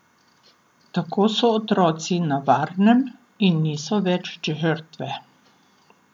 Tako so otroci na varnem in niso več žrtve.